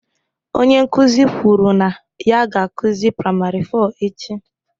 Onye nkuzi kwuru na ya ga-akụzi primary four echi